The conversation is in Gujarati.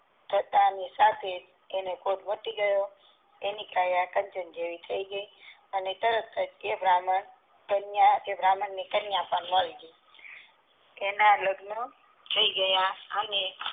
પૂરું થતા ની સાથે તેને કોઢ માટી ગયો તેને સારું થઈ ગયું અને તરત જ તે બાહ્મણ ને કન્યા પણ મળી ગઈ તેના લગ્ન થઈ ગયા અને